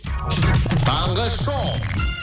таңғы шоу